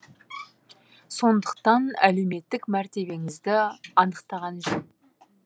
сондықтан әлеуметтік мәртебеңізді анықтаған жөн